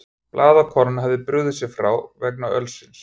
Blaðakonan hafði brugðið sér frá vegna ölsins.